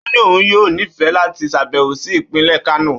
Ó ní òun yóò nífẹ̀ẹ́ láti ṣàbẹ̀wò sí ìpínlẹ̀ Kano